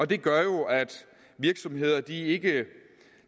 det gør jo at virksomhederne ikke